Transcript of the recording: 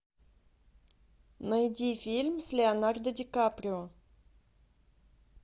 найди фильм с леонардо ди каприо